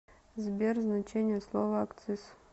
сбер значение слова акциз